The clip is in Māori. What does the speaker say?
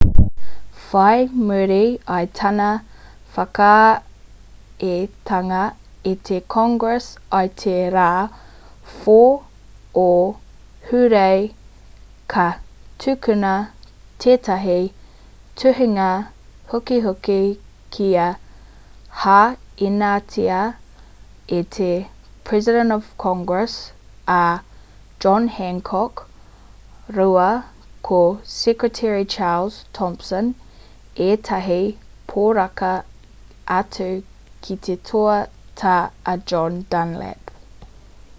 whai muri i tana whakaaetanga e te congress i te rā 4 o hūrae ka tukuna tētahi tuhinga hukihuki kua hainatia e te president of congress a john hancock rāua ko secretary charles thompson ētahi poraka atu ki te toa tā a john dunlap